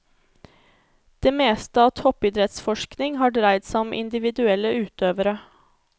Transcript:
Det meste av toppidrettsforskning har dreid seg om individuelle utøvere.